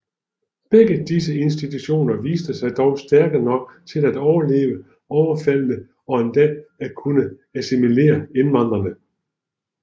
Begge disse institutioner viste sig dog stærke nok til at overleve overfaldene og endda at kunne assimilere indvandrerne